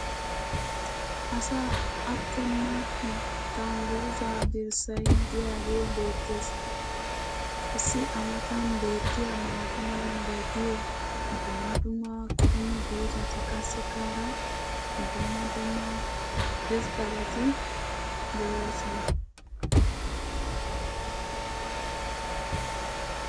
Asaa aattena dangguzaa dirssay diyaagee beetees. qassi a matan beetiya maata mala meray diyo dumma dumma qommo dozzati qassikka hara dumma dumma irxxabati doosona.